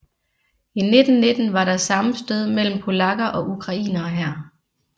I 1919 var der sammenstød mellem polakker og ukrainere her